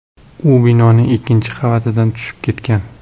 U binoning ikkinchi qavatidan tushib ketgan.